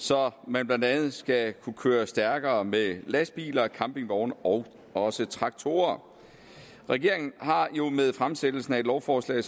så man blandt andet skal kunne køre stærkere med lastbiler og campingvogne og også traktorer regeringen har jo med fremsættelsen af et lovforslag